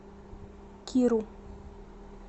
киру